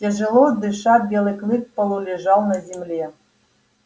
тяжело дыша белый клык полулежал на земле